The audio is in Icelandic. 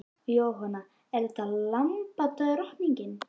Jóhanna: Er þetta lambadrottningin?